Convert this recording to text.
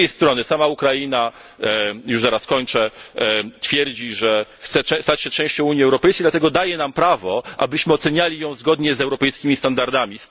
Z drugiej strony, sama Ukraina twierdzi, że chce stać się częścią Unii Europejskiej, dlatego daje nam prawo, abyśmy oceniali ją zgodnie z europejskimi standardami.